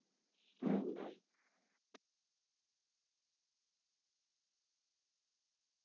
ஆஹ் bye